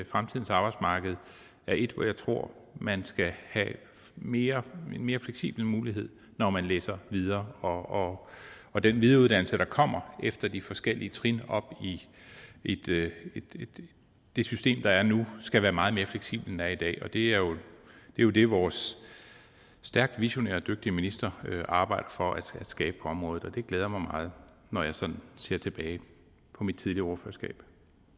fremtidens arbejdsmarked er et hvor jeg tror at man skal have en mere fleksibel mulighed når man læser videre og og den videreuddannelse der kommer efter de forskellige trin op i det det system der er nu skal være meget mere fleksibel end den er i dag det er jo det vores stærkt visionære og dygtige minister arbejder for at skabe på området og det glæder mig meget når jeg sådan ser tilbage på mit tidligere ordførerskab